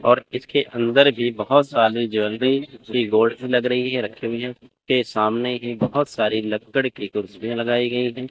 और इसके अंदर भी बहुत सारे ज्वेलरी के लग रही है रखी हुई हैं के सामने ही बहुत सारी लक्कड़ की कुर्सियां लगाई गई हैं।